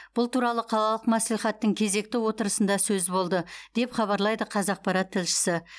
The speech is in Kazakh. бұл туралы қалалық мәслихаттың кезекті отырысында сөз болды деп хабарлайды қазақпарат тілшісі